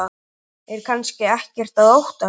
Er kannski ekkert að óttast?